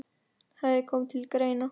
hafi komið til greina.